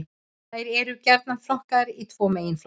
Þær eru gjarnan flokkaðar í tvo meginflokka.